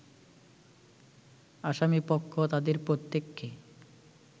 আসামিপক্ষ তাদের প্রত্যেককে